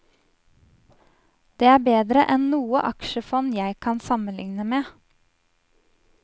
Det er bedre enn noe aksjefond jeg kan sammenligne med.